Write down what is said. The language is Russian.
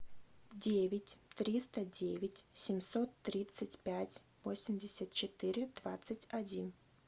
девять триста девять семьсот тридцать пять восемьдесят четыре двадцать один